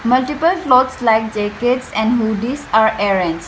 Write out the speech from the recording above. multiple clothes like jackets and hoodies are arranged.